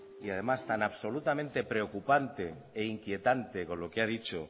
y además tan absolutamente preocupante e inquietante con lo que ha dicho